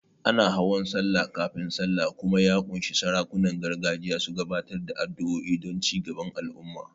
Ana hawan Sallah kafin Sallah kuma ya ƙunshi sarakunan gargajiya su gabatar da addu'o'i don cigaban al'umma.